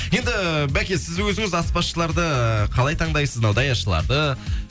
енді бәке сіз өзіңіз аспазшыларды қалай таңдайсыз мынау даяшыларды